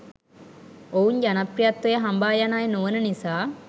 ඔවුන් ජනප්‍රියත්වය හඹා යන අය නොවන නිසා.